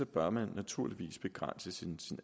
bør man naturligvis have begrænset sin